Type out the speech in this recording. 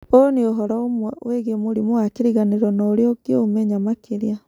ũũ nĩ ũhoro ũmwe wĩgiĩ mũrimũ wa kĩriganĩro na ũrĩa ũngĩũmenya makĩria.